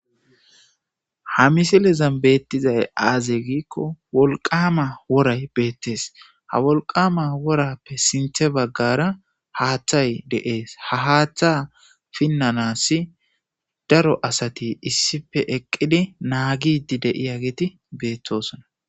Ha misilezan beettizay aazey giikko wolqama woray beettees ha wolqama worappe sinthe baggara haaththay deees ha haaththa pinnanassi daro asati issife eqqidi naagidi deiya geeti beettosona.